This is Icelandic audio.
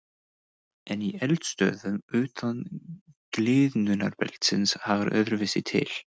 En í eldstöðvum utan gliðnunarbeltisins hagar öðruvísi til.